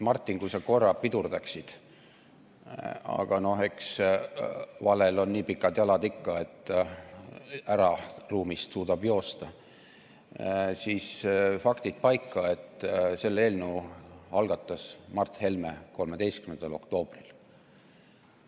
Martin, kui sa korra pidurdaksid – aga noh, eks valel on nii pikad jalad ikka, et suudab ruumist ära joosta –, siis faktid paika: selle eelnõu algatas Mart Helme 13. oktoobril.